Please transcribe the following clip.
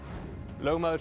lögmaður